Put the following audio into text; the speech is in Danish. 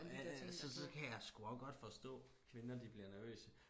Ja ja så så kan jeg sgu og godt forstå kvinder de bliver nervøse